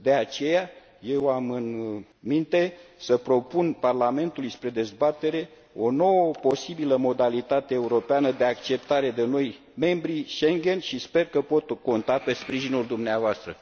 De aceea, eu am în minte să propun Parlamentului spre dezbatere o nouă posibilă modalitate europeană de acceptare de noi membri Schengen și sper că pot conta pe sprijinul dumneavoastră.